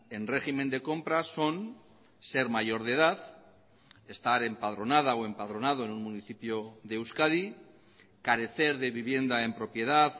en régimen de compra son ser mayor de edad estar empadronada o empadronado en un municipio de euskadi carecer de vivienda en propiedad